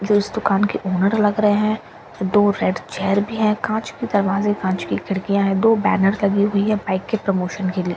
जो इस दुकान के ओनर लग रहे हैं दो रेड चेयर भी है कांच की दरवाजे कांच की खिड़कियां हैं दो बैनर लगी हुई है बाइक के प्रमोशन के लिए।